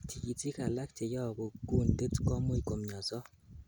Tikitik alak cheyobu kuntit komuch komioso.